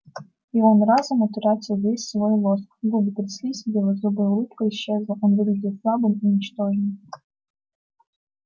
и он разом утратил весь свой лоск губы тряслись белозубая улыбка исчезла он выглядел слабым и ничтожным